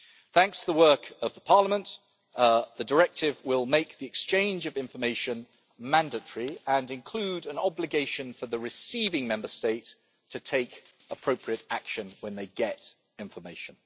Thanks to the work of the Parliament, the Directive will make the exchange of information mandatory and include an obligation for the receiving Member State to take appropriate action when they get information.